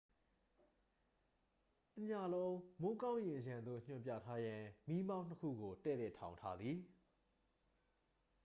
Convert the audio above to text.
တစ်ညလုံး မိုးကောင်းကင်ယံသို့ ညွှန်ပြထားရန် မီးမောင်းနှစ်ခုကို တည့်တည့်ထောင်ထားသည်